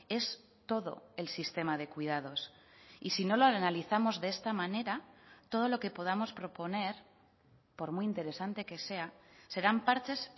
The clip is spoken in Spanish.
es todo el sistema de cuidados y si no lo analizamos de esta manera todo lo que podamos proponer por muy interesante que sea serán parches